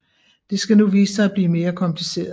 Det skal nu vise sig at blive mere kompliceret